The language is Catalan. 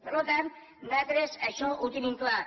per tant nosaltres això ho tenim clar